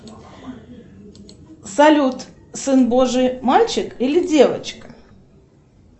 салют сын божий мальчик или девочка